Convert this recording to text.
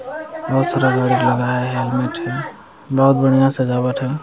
बहुत सारा गाड़ी लगाया है बहुत बढ़िया सजावट है।